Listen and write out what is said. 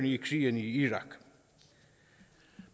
i krigen i irak